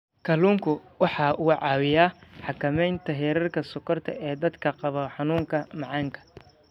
Kalluunku waxa uu caawiyaa xakamaynta heerka sonkorta ee dadka qaba xanuunka macaanka.